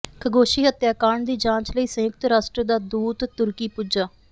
Khashoggi ਹੱਤਿਆ ਕਾਂਡ ਦੀ ਜਾਂਚ ਲਈ ਸੰਯੁਕਤ ਰਾਸ਼ਟਰ ਦਾ ਦੂਤ ਤੁਰਕੀ ਪੁੱਜਾ